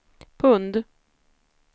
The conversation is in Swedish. pund